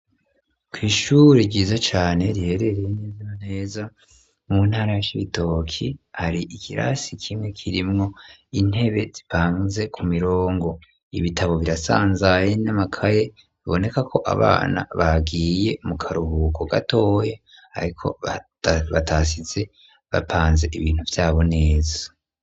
Kw'ishuri ryiza cane riherereye neza neza mu ntara ya Cibitoki hari ikirasi kimwe kirimwo intebe zipanze ku mirongo ibitabo birasanzaye n'amakaye biboneka ko abana bagiye mu karuhuko gatoye ariko batasize bapanze ibintu vyabo neza.